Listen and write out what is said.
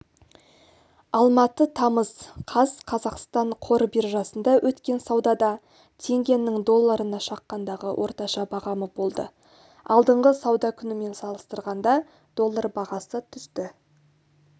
алматы тамыз қаз қазақстан қор биржасында өткен саудада теңгенің долларына шаққандағы орташа бағамы болды алдыңғы сауда күнімен салыстырғанда доллар бағасы түсті